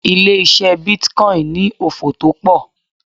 Ilé ise bitcoin ni òfò to pọ̀.